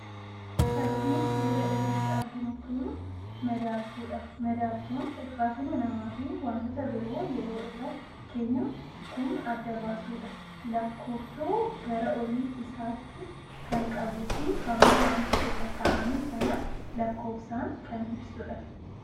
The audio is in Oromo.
Fakiin suuraa irratti arginu kun madaaltuudha. Madaaltuun ulfaatina namaa fi wantoota biroo yeroo irra keenyu kan adda baasudha. Lakkooftuu gara olii isaatii kan qabuu fi hamma wanta irra kaa'ame sanaa lakkoofsaan kan ibsudha.